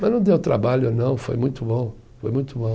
Mas não deu trabalho, não, foi muito bom, foi muito bom.